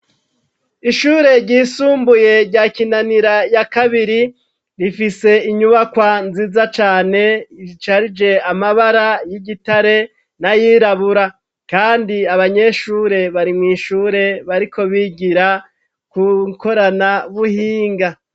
Ishure ryisumbuye rya Kinanira ya kabiri, rifise inyubakwa nziza cane risharije amabara y'igitare nayirabura, kandi abanyeshure bari mw'ishure bariko bigira kukorana buhinga.